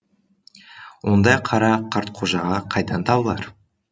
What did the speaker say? ондай қара қартқожаға қайдан табылар